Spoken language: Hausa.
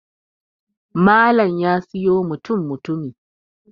Malam ya siyo mutum mutumi